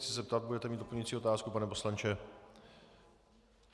Chci se zeptat: Budete mít doplňující otázku, pane poslanče?